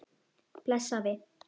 Bless afi.